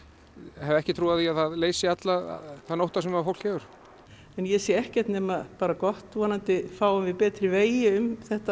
hef ekki trú á því að það leysi allan þann ótta sem fólk hefur ég sé ekkert nema bara gott vonandi fáum við betri vegi um þetta